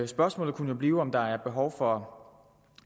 spørgsmålet kunne blive om der er behov for